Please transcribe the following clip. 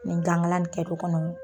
ni gan ŋala bi kɛ du kɔnɔ